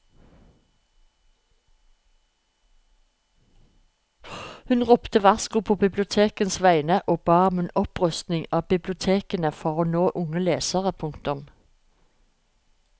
Hun ropte varsko på bibliotekenes vegne og ba om en opprustning av bibliotekene for å nå unge lesere. punktum